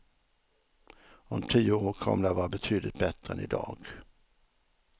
Om tio år kommer de att vara betydligt bättre än idag.